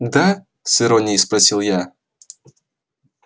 да с иронией спросил я